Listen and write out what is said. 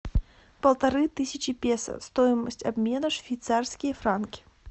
полторы тысячи песо стоимость обмена швейцарские франки